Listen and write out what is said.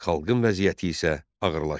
Xalqın vəziyyəti isə ağırlaşdı.